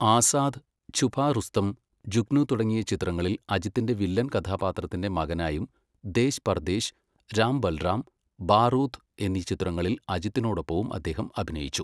ആസാദ്, ഛുപാ റുസ്തം, ജുഗ്നു തുടങ്ങിയ ചിത്രങ്ങളിൽ അജിത്തിൻ്റെ വില്ലൻ കഥാപാത്രത്തിൻ്റെ മകനായും ദേശ് പർദേശ്, രാം ബൽറാം, ബാറൂദ് എന്നീ ചിത്രങ്ങളിൽ അജിത്തിനോടൊപ്പവും അദ്ദേഹം അഭിനയിച്ചു.